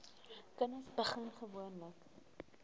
kinders begin gewoonlik